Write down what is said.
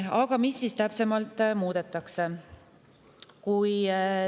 Aga mida siis täpsemalt muudetakse?